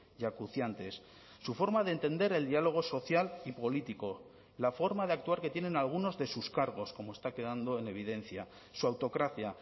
y acuciantes su forma de entender el diálogo social y político la forma de actuar que tienen algunos de sus cargos como está quedando en evidencia su autocracia